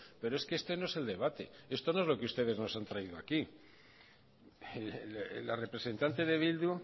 pero es que este no es el debate esto no es lo que ustedes nos han traído aquí la representante de bildu